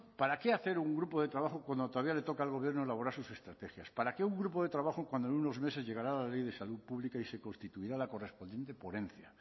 para qué hacer un grupo de trabajo cuando todavía le toca al gobierno elaborar sus estrategias para qué un grupo de trabajo cuando en unos meses llegará la ley de salud pública y se constituirá la correspondiente ponencia